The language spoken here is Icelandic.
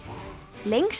lengsta